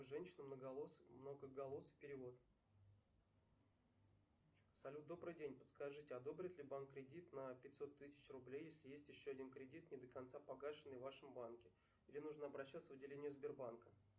женщина многоголосый перевод салют добрый день подскажите одобрит ли банк кредит на пятьсот тысяч рублей если есть еще один кредит не до конца погашенный в вашем банке где нужно обращаться в отделение сбербанка